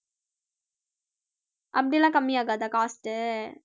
அப்படி எல்லாம் கம்மியாகாதா cost உ